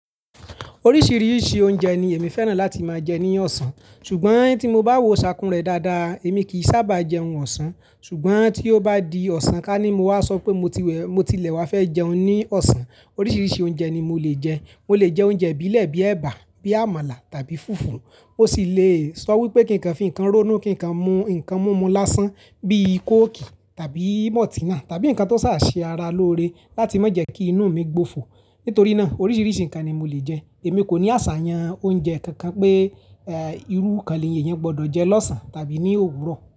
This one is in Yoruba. Oríṣiríṣi oúnjẹ ni èmi fẹ́ràn láti máa jẹ ní ọ̀sán, ṣùgbọ́n tí mo bá wo ṣàkún rẹ dáadáa, èmi kìí sábà jẹun ọ̀sán ṣùgbọ́n tí ó bá di ọ̀sán ka ni mo wá sọ pé mo ti wẹ̀, mo tilẹ̀ wá fẹ́ jẹun ní ọ̀sán. Oríṣiríṣi oúnjẹ ni mo lè jẹ. Mo lè jẹ oúnjẹ ibilẹ̀ bíi ẹ̀bà, bíi àmàlà tàbí fùfú. Ó sì lè sọ wípé kí nǹkan fi ǹkan ronú, kí ǹkan mú ǹkan múmu lásán bíi coke tàbí maltinà tàbí ǹkan tó sáà ṣe ara lóore láti má jẹ́ kí inú mi gbòfò. Nítorí náà oríṣiríṣi ǹkan ni mo lè jẹ. Èmi kò ní àṣàyàn oúnjẹ kankan pé eh, irú kan ni eyan gbọ́dọ̀ jẹ lọ́sàn-án tàbí ní òwúrọ̀.